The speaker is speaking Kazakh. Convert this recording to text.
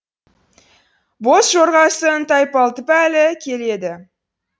боз жорғасын тайпалтып әлі келеді